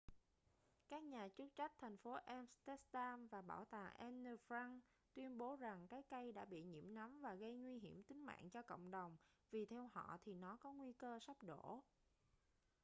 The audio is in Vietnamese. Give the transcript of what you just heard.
các nhà chức trách thành phố amsterdam và bảo tàng anne frank tuyên bố rằng cái cây đã bị nhiễm nấm và gây nguy hiểm tính mạng cho cộng đồng vì theo họ thì nó có nguy cơ sắp đổ